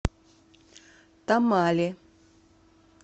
тамале